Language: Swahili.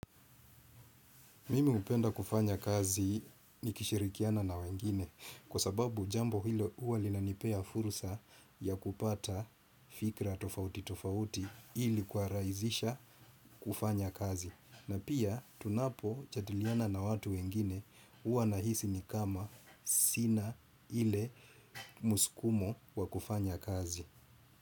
Mimi hupenda kufanya kazi nikishirikiana na wengine kwa sababu jambo hilo huwa linanipea fursa ya kupata fikra tofauti tofauti ili kurahisisha kufanya kazi. Na pia tunapojadiliana na watu wengine huwa nahisi ni kama sina ile muskumo wa kufanya kazi.